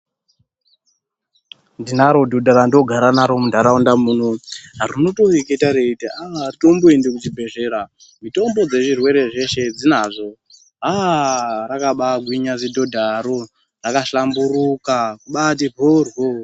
Ndinaro dhodha randoogara naro muntaraunta muno rinotoreketa reiti ah haritoendi kuchibhedhlera, mitombo dzezvirwere zveshe dzinazvo. Ah rakabaagwinya zidhodharo, rakahlamburuka, kubaati mhoryo